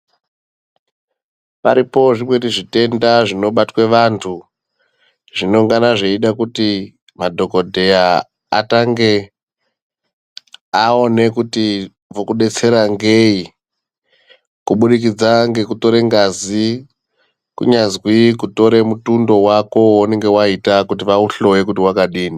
Paripo zvimweni zvitenda zvinobatwe vantu zvinongana zveide kuti madhokoteya atange aone kuti vokudetsera ngei, kuburikidza ngekutore ngazi kunyazwi kutore mutundo wako weunenge waita kuti vauhloye kuti wakadini.